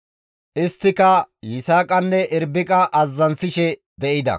Isttika Yisaaqanne Irbiqa mishisishe de7ida.